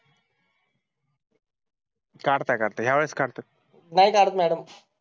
काढत काढता यावेळेस काढतात नाही काढत मॅडम